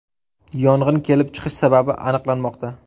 Yong‘in kelib chiqish sababi aniqlanmoqda.